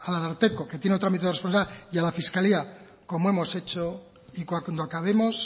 al ararteko que tiene otro ámbito de responsabilidad y a la fiscalía como hemos hecho y cuando acabemos